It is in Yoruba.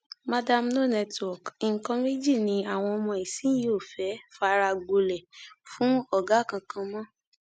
mandarin no network nǹkan méjì ni àwọn ọmọ ìsinyìí ò fẹẹ fara gbolẹ fún ọgá kankan mọ